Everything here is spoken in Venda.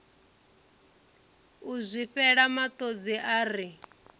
u zwifhela matodzi a ri